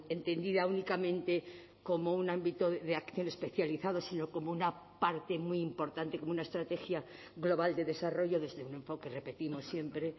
entendida únicamente como un ámbito de acción especializado sino como una parte muy importante como una estrategia global de desarrollo desde un enfoque repetimos siempre